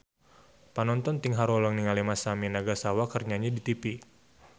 Panonton ting haruleng ningali Masami Nagasawa keur nyanyi di tipi